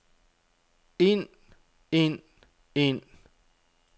ind ind ind